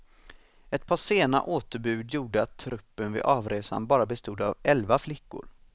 Ett par sena återbud gjorde att truppen vid avresan bara bestod av elva flickor.